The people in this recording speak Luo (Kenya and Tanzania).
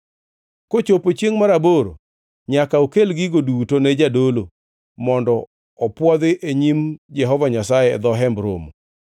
“Kochopo chiengʼ mar aboro nyaka okel gigo duto ne jadolo mondo opwodhi e nyim Jehova Nyasaye e dho Hemb Romo.